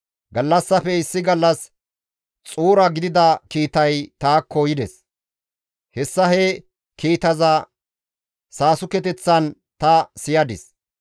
Gallassafe issi gallas xuura gidida kiitay taakko yides; hessa he kiitaza saasukeththan ta siyadis.